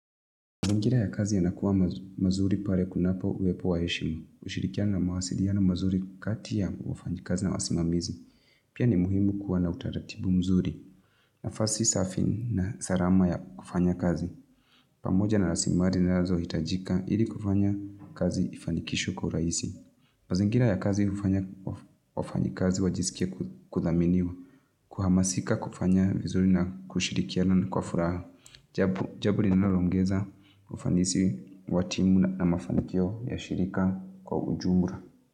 Mazingira ya kazi yanakuwa mazuri pale kunapo uwepo wa heshimu. Ushirikiano na mawasiliano mazuri kati ya wafanyikazi na wasimamizi. Pia ni muhimu kuwa na utaratibu mzuri. Nafasi safi na salama ya kufanya kazi. Pamoja na rasilimali zinazohitajika ili kufanya kazi ifanikishwe kwa urahisi. Mazingira ya kazi hufanya wafanyikazi wajisikie kudhaminiwa. Kuhamasika kufanya vizuri na kushirikiana kwa furaha. Japo Jambo linaloongeza ufanisi wa timu na mafanikio ya shirika kwa ujumla.